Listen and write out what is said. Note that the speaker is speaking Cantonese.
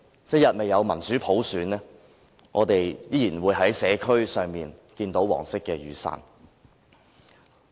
一日未有民主普選，我們依然會在社區上看到黃色雨傘。